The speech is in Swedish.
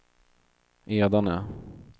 Edane